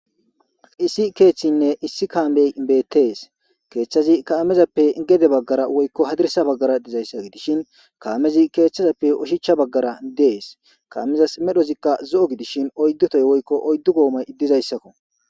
Issi keeththinne issi kaamey beettees keeththazi kaamezappe gede baggara woykko hadirsa baggara dizayssa gidishin kaamezi keeththazappe ushichcha baggara dees kaamezas medhozikka zo7o gidishin oyddotoy woykko oyddu goomay dizayssakko.